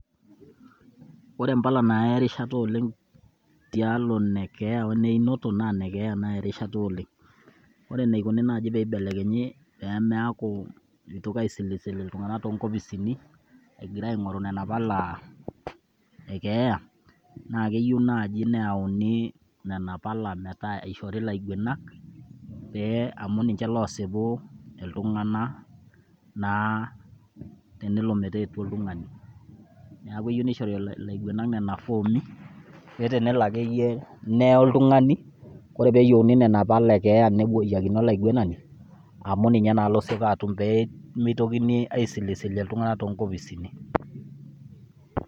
Ore imbala naaya erishata oleng' tialo enekeeya o neyeinoto naa inekeeya naaya erashata oleng'. Ore eneikoni naaji peyie eibelekenyi pee meaku mitoki asilisilo iltung'anak too nkopisini egira aingoru nena pala ekeeya, naa keyieu naaji neyuni nena pala metaa eishori ilaiguanak pee amu ninje loosipu iltung'anak naa tenelo metaa etua oltung'ani. Neeku eyieu nishori ilaiguanak nena foomi paa telo akeyie neye oltung'ani ore pee yieuni nena pala ekeeya nepuoyiakini olaiguanani amu ninye naa losipa atum pee mitokini aisilisil iltung'anak too nkopisini.